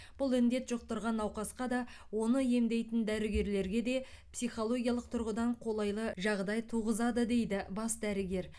бұл індет жұқтырған науқасқа да оны емдейтін дәрігерлерге де психологиялық тұрғыдан қолайлы жағдай туғызады дейді бас дәрігер